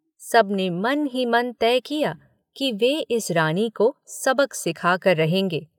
सब ने मन ही मन तय किया कि वे इस रानी को सबक सिखा कर रहेंगे।